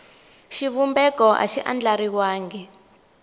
xivumbeko a xi andlariwangi hi